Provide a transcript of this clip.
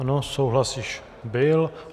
Ano, souhlas již byl.